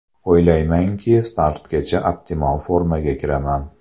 O‘ylaymanki, startgacha optimal formaga kiraman.